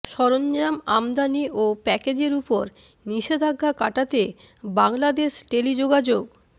সরঞ্জাম আমদানি ও প্যাকেজের ওপর নিষেধাজ্ঞা কাটাতে বাংলাদেশ টেলিযোগাযোগ